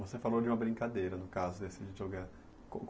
Você falou de uma brincadeira no caso